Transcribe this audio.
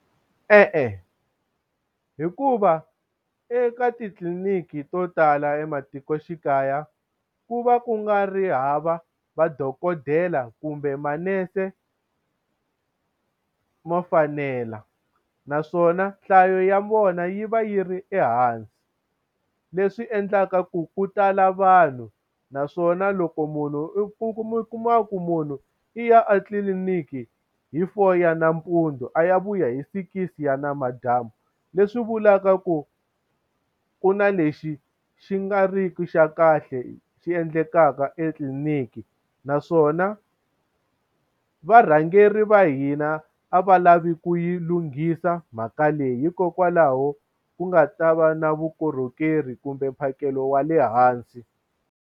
E-e, hikuva eka titliliniki to tala ematikoxikaya ku va ku nga ri hava madokodela kumbe manese mo fanela, naswona nhlayo ya vona yi va yi ri ehansi. Leswi endlaka ku ku tala vanhu, naswona loko munhu u kuma ku munhu i ya a tliliniki hi four ya nampundzu a ya vuya hi sikisi ya namadyambu. Leswi vulaka ku ku na lexi xi nga ri ki xa kahle xi endlekaka etliliniki. Naswona varhangeri va hina a va lavi ku yi lunghisa mhaka leyi, hikokwalaho ku nga ta va na vukorhokeri kumbe mphakelo wa le hansi.